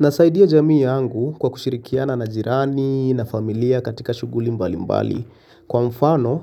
Nasaidia jamii yangu kwa kushirikiana na jirani na familia katika shughuli mbalimbali. Kwa mfano